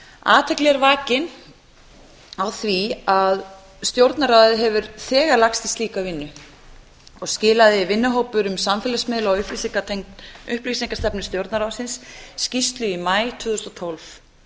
athygli er vakin á því að stjórnarráðið hefur þegar lagst í slíka vinnu og skilaði vinnuhópur um samfélagsmiðla og upplýsingastefnu stjórnarráðsins skýrslu í maí tvö þúsund og tólf